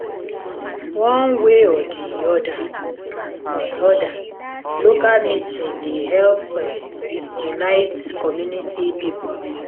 one way or di oda oda local meeting dey help unite community pipo